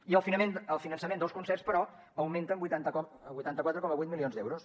i el finançament dels concerts però augmenta en vuitanta quatre coma vuit milions d’euros